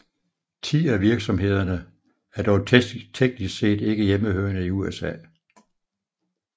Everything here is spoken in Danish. Ti af virksomhederne er dog teknisk set ikke hjemmehørende i USA